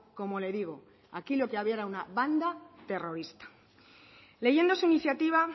como le digo aquí lo que había era una banda terrorista leyendo su iniciativa